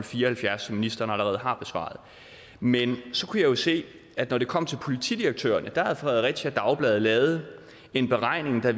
fire og halvfjerds som ministeren allerede har besvaret men så kunne jeg jo se at når det kom til politidirektørerne det havde fredericia dagblad lavet en beregning af